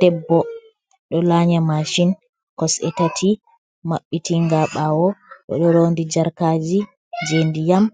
Debbo ɗo la nya mashin kosɗe tati mabbitinga ɓawo, oɗo rondi jarkaji je ndiyam,